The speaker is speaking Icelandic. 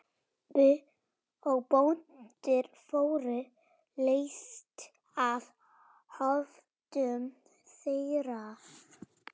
Böndin voru leyst af höndum þeirra.